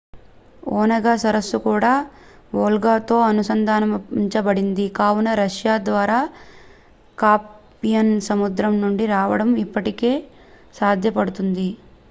Onega సరస్సు కూడా వోల్గాతో అనుసంధానించబడింది కావున రష్యా ద్వారా కాస్పియన్ సముద్రం నుండి రావడం ఇప్పటికీ సాధ్యపడుతుంది